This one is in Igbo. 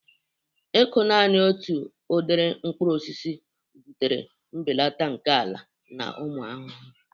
Ịkụ naanị otu udiri mkpụrụ osisi butere mbelata nke ala na ụmụ ahụhụ.